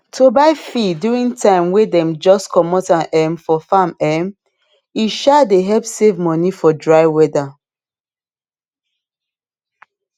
to buy feed during time way dem just comot am um for farm um e um dey help save money for dry weather